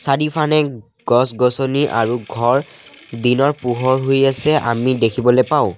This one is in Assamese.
চাৰিওফানে গছ-গছনি আৰু ঘৰ দিনৰ পোহৰ হৈ আছে আমি দেখিবলৈ পাওঁ।